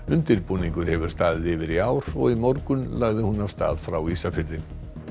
undirbúningur hefur staðið yfir í ár og í morgun lagði hún af stað frá Ísafirði